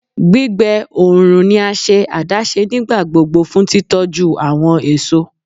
Gbigbe oorun ni a ṣe adaṣe nigbagbogbo fun titọju awọn eso